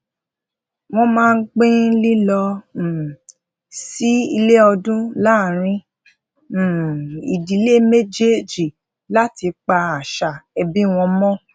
wón máa ń pin lilo um sí ile odun laaarin um idile mejeeji lati pa asa ebi won mo